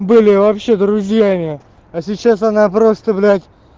были вообще друзьями а сейчас она просто блять